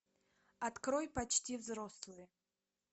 открой почти взрослые